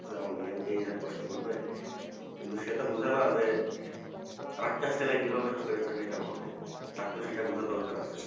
আমার মেয়েও কি এ রকম কষ্ট করবে কিন্তু সেতো বুঝেনা যে আর একটা ছেলে কিভাবে সংসারে চাকরি টা পাবে তার তো সেটা বোঝার দরকার আছে